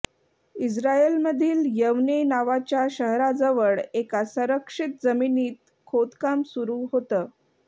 इस्रायलमधील यवने नावाच्या शहराजवळ एका संरक्षित जमिनीत खोदकाम सुरू होतं